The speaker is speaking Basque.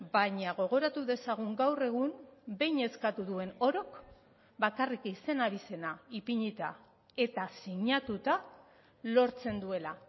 baina gogoratu dezagun gaur egun behin eskatu duen orok bakarrik izen abizena ipinita eta sinatuta lortzen duela